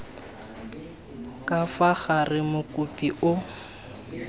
ka fa gare mokopi o